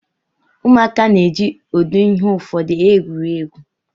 Ụmụaka na-eji ụdị ihe ụfọdụ egwuri egwu.